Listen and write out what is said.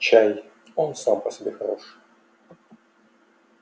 чай он сам по себе хорош